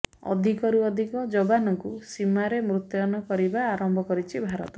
ଅଧିକରୁ ଅଧିକ ଯବାନଙ୍କୁ ସୀମାରେ ମୁତୟନ କରିବା ଆରମ୍ଭ କରିଛି ଭାରତ